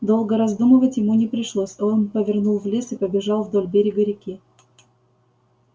долго раздумывать ему не пришлось он повернул в лес и побежал вдоль берега реки